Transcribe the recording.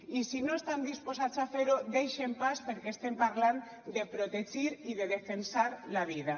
i si no estan disposats a fer ho deixin pas perquè estem parlant de protegir i de defensar la vida